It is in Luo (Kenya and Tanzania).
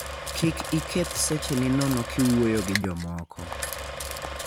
Kik iketh secheni nono kiwuoyo gi jomoko.